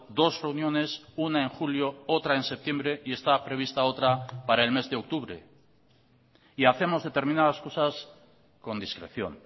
dos reuniones una en julio otra en septiembre y está prevista otra para el mes de octubre y hacemos determinadas cosas con discreción